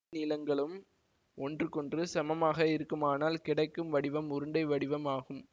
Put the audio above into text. நீளங்களும் ஒன்றுகொன்று சமமாக இருக்குமானால் கிடைக்கும் வடிவம் உருண்டை வடிவம் ஆகும்